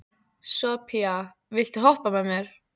Sophia, viltu hoppa með mér?